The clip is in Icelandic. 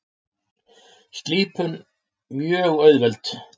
Slípun mjög auðveld.